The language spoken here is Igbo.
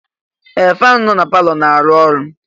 Ee! Faanụ nọ na palọ na-arụ ọrụ.